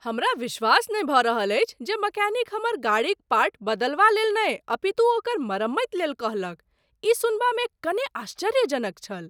हमरा विश्वास नहि भऽ रहल अछि जे मैकेनिक हमर गाड़ीक पार्ट बदलवा लेल नहि अपितु ओकर मरम्मति लेल कहलक। ई सुनबामे कने आश्चर्यजनक छल।